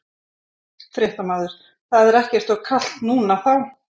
Fréttamaður: Það er ekkert of kalt núna þá?